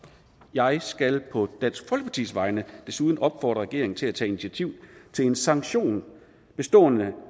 jeg skal på dansk folkepartis vegne desuden opfordre regeringen til at tage initiativ til en sanktion bestående